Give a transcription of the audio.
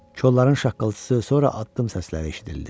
Kolların şaqqıltısı, sonra addım səsləri eşidildi.